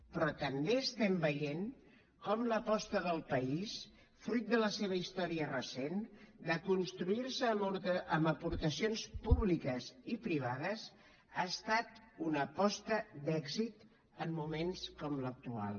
però també estem veient com l’aposta del país fruit de la seva història recent de construirse amb aportacions públiques i privades ha estat una aposta d’èxit en moments com l’actual